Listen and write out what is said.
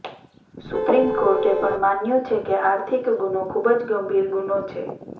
supreme કોર્ટે પણ માન્યું છે કે આર્થિક ગુનો ખૂબજ ગંભીર ગુનો છે